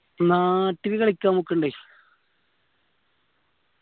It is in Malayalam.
നാട്ടില് കളിക്കാൻ പോക്കിണ്ടേ